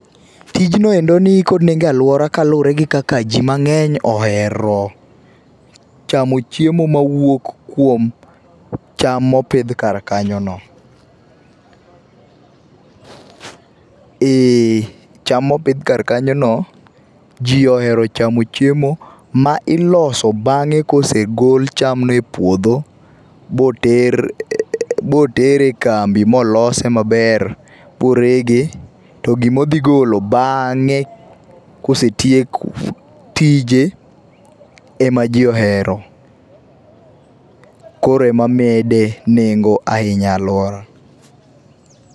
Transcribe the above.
Tijnoendo nikod nengo e aluora kaluor egi kaka jii mangeny ohero chamo chiemo mawuok kuom cham mopidh kar kanyo no. ,eeh, cham mopidh kar kanyo no jii ohero chamo chiemo ma iloso bang'e kosegol chamno e puodho boter ,boter e kambi molose maber, morege to gima odhi golo baang'e kosetiek tije ema jii ohero. Koro ema mede nengo ahinya e aluora